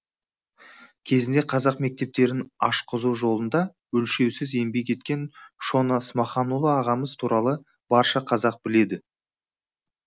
кезінде қазақ мектептерін ашқызу жолында өлшеусіз еңбек еткен шона смаханұлы ағамыз туралы барша қазақ біледі